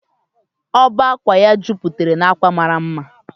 ọbá ákwà ya jupatara na akwa mara mma